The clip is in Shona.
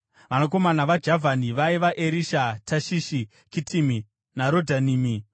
Vanakomana vaJavhani vaiva: Erisha, Tashishi, Kitimi naRodhanimi.